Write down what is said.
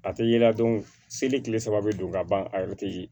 A tɛ ye la seli kile saba bɛ don ka ban a yɛrɛ tɛ